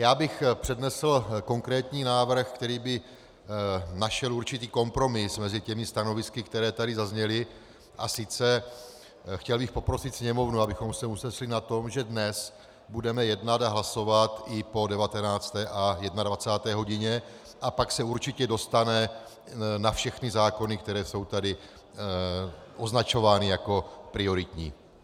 Já bych přednesl konkrétní návrh, který by naše určitý kompromis mezi těmi stanovisky, která tady zazněla, a sice chtěl bych poprosit sněmovnu, abychom se usnesli na tom, že dnes budeme jednat a hlasovat i po 19. a 21. hodině, a pak se určitě dostane na všechny zákony, které jsou tady označovány jako prioritní.